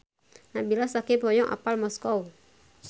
Nabila Syakieb hoyong apal Moskow